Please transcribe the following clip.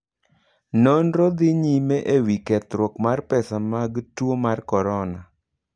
Nonro dhi nyime e wi kethruok mar pesa mag tuo mar Korona.